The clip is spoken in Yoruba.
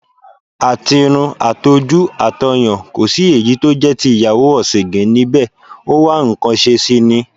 Àtirun, àtojú, àtọyàn, ko sí èyí tó jẹ́ ti ìyàwó ọ̀sìǹgìn níbẹ̀, ó wá nǹkan ṣe sì ni.